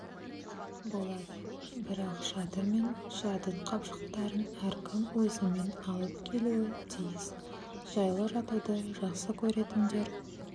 болады бірақ шатыр мен жатын қапшықтарын әркім өзімен алып келуі тиіс жайлы жатуды жақсы көретіндер